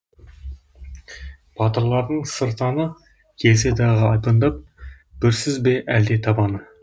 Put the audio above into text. батырлардың сыртаны келсе дағы айбындап бүрсіз бе әлде табаны